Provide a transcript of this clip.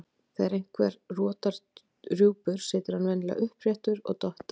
Þegar einhver rotar rjúpur situr hann venjulega uppréttur og dottar.